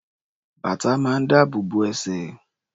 Bàtà máa ń dáàbò bo ẹsẹ̀.